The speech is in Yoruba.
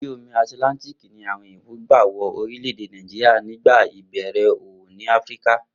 Orí omi Àtìláńtíìkì ni àwo̩n òyìnbò gbà wo̩ orílè̩-èdè Nàìjíríà nígbà ìbè̩rè̩ òwò ní Áfíríkà